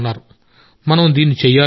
మనం దీన్ని చేయాలి అని చెప్పాడు